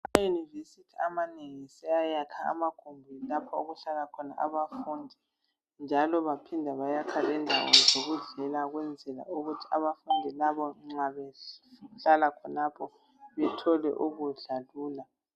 Amayunivesithi amanengi seyayakha amagumbi okuhlala khona abafundi njalo baphinda bayakha lendawo zokudlela ukwenzela ukuthi bethole ukudla lula.